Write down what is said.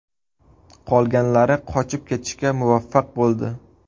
Qolganlari qochib ketishga muvaffaq bo‘ldi.